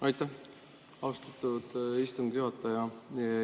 Aitäh, austatud istungi juhataja!